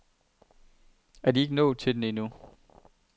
Er ikke nået til den endnu?